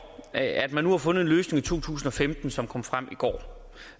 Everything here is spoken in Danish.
at man nu har fundet en løsning for to tusind og femten som kom frem i går